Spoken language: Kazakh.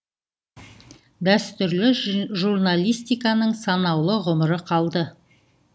дәстүрлі журналистиканың санаулы ғұмыры қалды